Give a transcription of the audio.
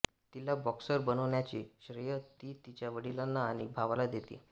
तिला बॉक्सर बनवण्याचे श्रेय ती तिच्या वडिलांना आणि भावाला देते